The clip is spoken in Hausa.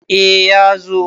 A ya zo